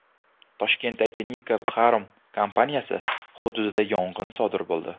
Toshkentdagi Nika Pharm kompaniyasi hududida yong‘in sodir bo‘ldi.